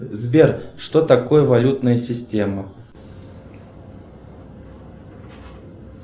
сбер что такое валютная система